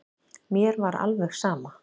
Mér var alveg saman.